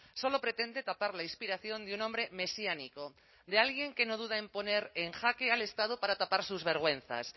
solo pretende tapar la inspiración de un hombre mesiánico de alguien que no duda en poner en jaque al estado para tapar sus vergüenzas